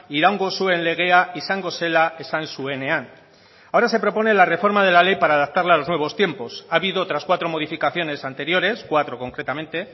iraungo zuen legea izango zela esan zuenean ahora se propone la reforma de la ley para adaptarla a los nuevos tiempos ha habido otras cuatro modificaciones anteriores cuatro concretamente